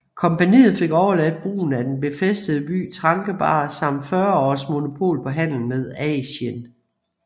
Kompagniet fik overladt brugen af den befæstede by Trankebar samt 40 års monopol på handel med Asien